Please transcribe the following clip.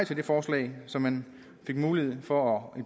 til det forslag så man fik mulighed for at